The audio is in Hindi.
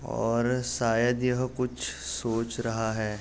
और शायद यह कुछ सोच रहा है |